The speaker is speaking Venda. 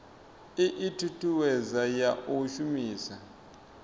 ii thuthuwedzo ya u shumiswa